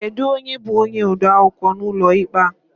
Kedụ onye bú onye odeakwụkwọ n'ụlọ ikpe a?